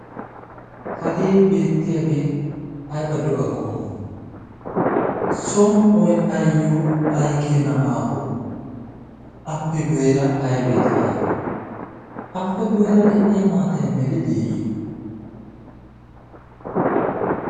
hagee beettiyaagee aybaddo a qommo somo'i ayyo ay keena aaho appe gweera aybee de'iya appe gadeera de'iya maatay meli deeyye?